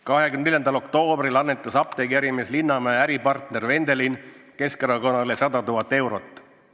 24. oktoobril annetas apteegiärimees Linnamäe äripartner Vendelin Keskerakonnale 100 000 eurot.